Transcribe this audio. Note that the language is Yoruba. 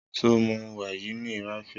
Sọ mú wàyínì ràfíà?